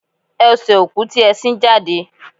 Ese oku ti e sin jade.